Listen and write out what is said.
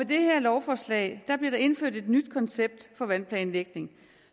det her lovforslag bliver der indført et nyt koncept for vandplanlægning